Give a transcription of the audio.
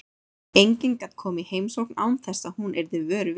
Enginn gat komið í heimsókn án þess að hún yrði vör við.